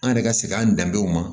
An yɛrɛ ka se an danbew ma